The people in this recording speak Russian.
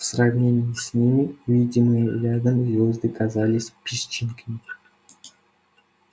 в сравнении с ними видимые рядом звёзды казались песчинками